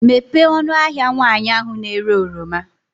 Mepee ọnụ ahịa nwaanyị ahụ na-ere oroma.